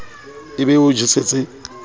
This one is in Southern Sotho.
e be e o jesetse